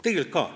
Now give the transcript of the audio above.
Tegelikult ka.